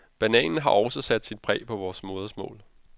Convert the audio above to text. Bananen har også sat sit præg på vort modersmål.